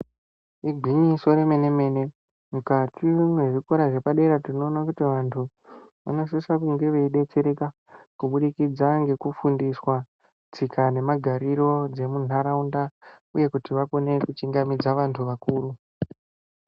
Ingwinyiso remene mene mukati mezvikora zvepadera tinoona kuti vanthu vanosisa kunge veidetsereka kuburikidza ngekufundiswa tsika nemagariro dzemunharaunda uye kuti vakwanise kukone kuchingamidza anthu akuru.